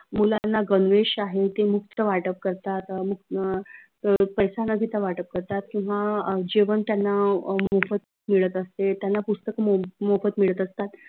मुलांना गनवेश आहे ते मुक्त वाटप करतात अं पैसा न घेता वाटप करतात किंव्हा अं जेवण त्यांना अं मोफत मिळत असते त्यांना पुस्तक मोफत मिळत असतात.